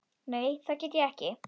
Nei það get ég ekki.